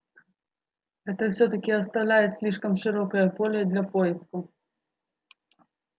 это всё-таки оставляет слишком широкое поле для поисков